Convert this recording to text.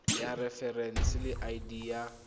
ya referense le id ya